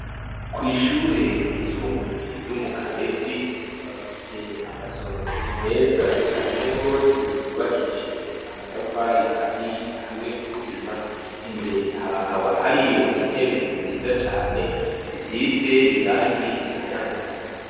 Kw'ishure ryisumbuye ryo mu Kabezi, bafise amasomero meza cane gose yubakishijwe amatafari ahiye hamwe n'isima, imbere hakaba hariyo intebe nziza cane zisize irangi rikayangana.